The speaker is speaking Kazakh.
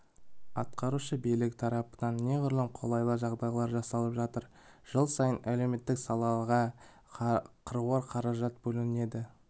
атқарушы билік тарапынан неғұрлым қолайлы жағдай жасалып жатыр жыл сайын әлеуметтік салаға қыруар қаржы бөлінеді